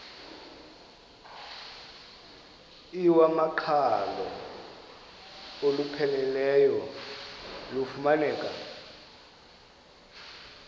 iwamaqhalo olupheleleyo lufumaneka